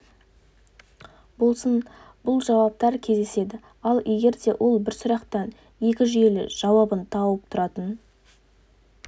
болсын бұл жауаптар кездеседі ал егер де ол бір сұрақтың екі жүйелі жауабын тауып тұратын